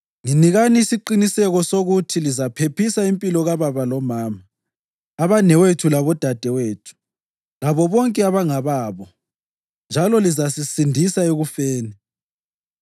Nginikani isiqiniseko sokuthi lizaphephisa impilo kababa lomama, abanewethu labodadewethu labo bonke abangababo, njalo lizasisindisa ekufeni.”